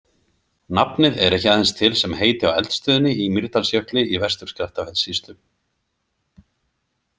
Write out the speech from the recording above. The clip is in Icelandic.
Nafnið er ekki aðeins til sem heiti á eldstöðinni í Mýrdalsjökli í Vestur-Skaftafellssýslu.